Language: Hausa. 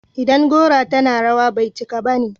idan gora tana rawa, bai cika bane